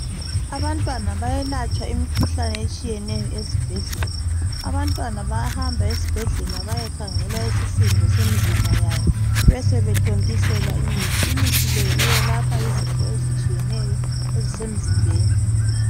Abantwana bayelatshwa imikhuhlane etshiyeneyo ezibhedlela. Abantwana bayahamba esibhedlela, bayekhangelwa isisindo semizimba yabo. Besebethontiselwa imithi. Imithi le, yelapha izifo ezitshiyeneyo, ezisemzimbeni,